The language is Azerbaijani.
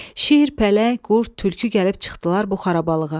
Şir, pələng, qurd, tülkü gəlib çıxdılar bu xarabalıqğa.